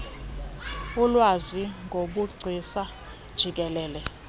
ulwazi ngobugcisa jikelele